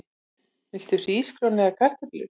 Viltu hrísgrjón eða kartöflur?